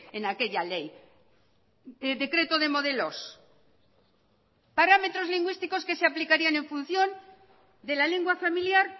en aquella ley decreto de modelos parámetros lingüísticos que se aplicarían en función de la lengua familiar